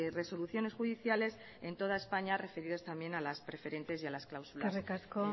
resoluciones judiciales en toda españa referidas también a las preferentes y a las cláusulas